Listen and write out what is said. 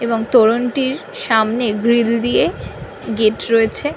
এবং তোরণ টির সামনে গ্রিল দিয়ে গেট রয়েছে।